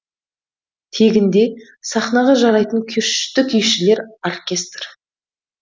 тегінде сахнаға жарайтын күшті күйшілер оркестр